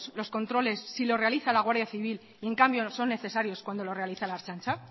los controles si los realiza la guardia civil y en cambio son necesarios cuando los realiza la ertzaintza